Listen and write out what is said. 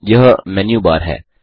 यह menu bar है